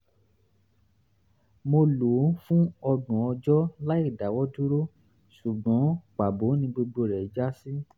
mo lò ó fún ọgbọ̀n ọjọ́ láìdáwọ́dúró ṣùgbọ́n pàbó ni gbogbo rẹ̀ já sí